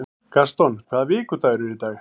Gaston, hvaða vikudagur er í dag?